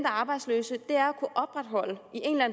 arbejdsløse